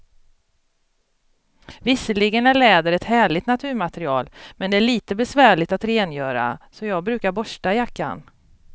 Visserligen är läder ett härligt naturmaterial, men det är lite besvärligt att rengöra, så jag brukar borsta jackan.